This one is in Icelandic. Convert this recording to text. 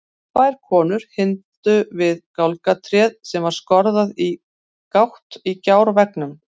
Tvær konur hímdu við gálgatréð sem var skorðað í gátt í gjárveggnum.